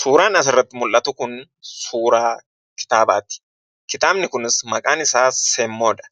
Suuraa asirratti mul'atu kun suuraa kitaabaati. Kitaabni kunis maqaan isaa semmoodha.